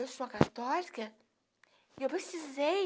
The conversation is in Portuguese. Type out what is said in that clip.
Eu sou católica e eu precisei